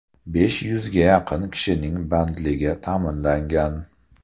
Besh yuzga yaqin kishining bandligi ta’minlangan.